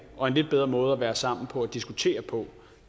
og en lidt bedre måde at være sammen på og diskutere på